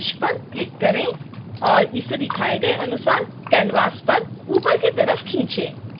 stem के सभी शीर्ष पर क्लिक करें और इसे दिखाए गए अनुसार canvas पर ऊपर की तरफ़ खींचें